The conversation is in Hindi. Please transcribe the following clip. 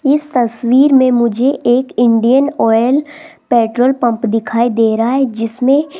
इस तस्वीर में मुझे एक इंडियन ऑयल पेट्रोल पंप दिखाई दे रहा है जिसमें --